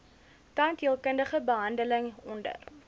tandheelkundige behandeling onder